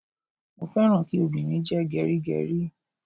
Mo féràn kí obìnrin jẹ́ gẹrígẹrí.